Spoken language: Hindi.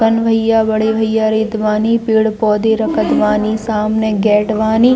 पन भैया बड़े भैया रेत बानी पेड़-पौधे रखत बानी सामने गेट बानी।